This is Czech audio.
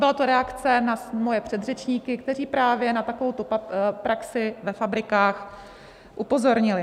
Byla to reakce na moje předřečníky, kteří právě na takovouto praxi ve fabrikách upozornili.